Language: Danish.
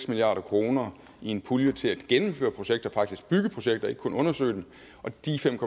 milliard kroner i en pulje til at gennemføre projekter altså faktisk bygge projekter og ikke kun undersøge dem og de fem